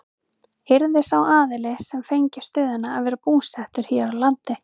Yrði sá aðili sem fengi stöðuna að vera búsettur hér á landi?